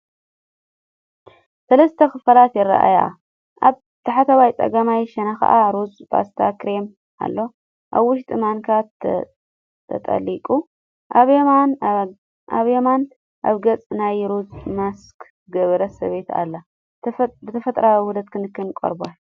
ሰለስተ ክፋላት ይረኣዩ፣ ኣብ ታሕተዋይ ጸጋማይ ሸነኽ ሩዝ ፓስተ/ክሬም ኣሎ፣ ኣብ ውሽጡ ማንካ ተጠሊቑ። ኣብ የማን ኣብ ገጻ ናይ ሩዝ ማስክ ዝገበረት ሰበይቲ ኣላ። ብተፈጥሮኣዊ ውሁዳት ክንክን ቆርበት!